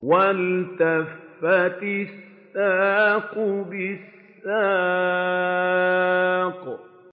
وَالْتَفَّتِ السَّاقُ بِالسَّاقِ